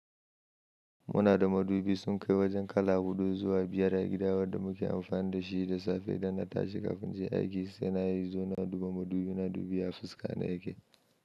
Muna da madubi sun kai wajen kala huɗu zuwa biyar a gida wanda muke amfani da shi da safe idan na tashi kafin in je aiki se na yi zo na duba madubi na dubi ya fuskana yake.